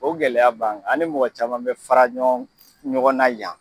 O gɛlɛya b'an kan . An ni mɔgɔ caman be fara ɲɔgɔn, ɲɔgɔn na yan